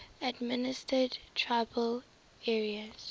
administered tribal areas